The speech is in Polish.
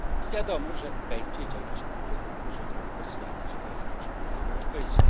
Wiadomo, że będzie działać w tym kierunku, żeby osłabić wewnątrz Unię Europejską.